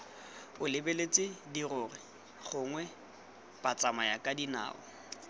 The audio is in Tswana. o lebeletse dirori gongwe batsamayakadinao